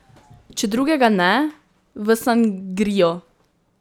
Če drugega ne, v sangrio.